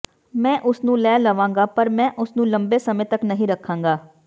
ਮੈਂ ਉਸਨੂੰ ਲੈ ਲਵਾਂਗਾ ਪਰ ਮੈਂ ਉਸ ਨੂੰ ਲੰਬੇ ਸਮੇਂ ਤੱਕ ਨਹੀਂ ਰੱਖਾਂਗਾ